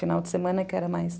Final de semana é que era mais...